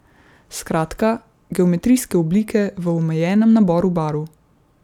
Skratka, geometrijske oblike v omejenem naboru barv.